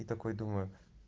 и такой думаю